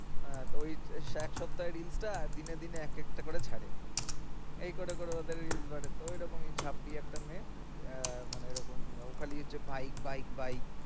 আহ এও এক সপ্তাহের reels টা আর দিনে দিনে একেকটা ছাড়ে। এই করে করে ওদের reels বাড়ে। তো ঐরকম ই ছাত্রী একটা মেয়ে আহ মানে ঐরকম ও খালি হচ্ছে bike bike bike